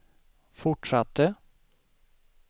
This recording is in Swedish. fortsatte